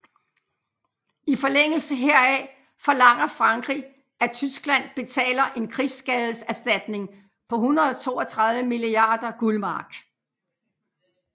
I forlængelse heraf forlanger Frankrig at Tyskland betaler en krigsskadeserstatning på 132 milliarder guld mark